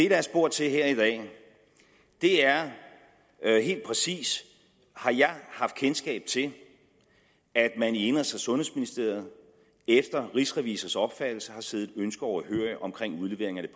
er spurgt til her i dag er er helt præcist har jeg haft kendskab til at man i indenrigs og sundhedsministeriet efter rigsrevisors opfattelse har siddet et ønske overhørig om udlevering af